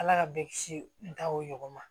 Ala ka bɛɛ kisi n ta o ɲɔgɔn ma